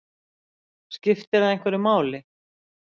Skipti það einhverju máli?